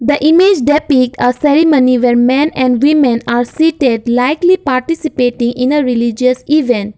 the image depicts are ceremony where men and women are seated likely participating in a religious event.